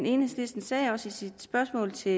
enhedslisten sagde også i sit spørgsmål til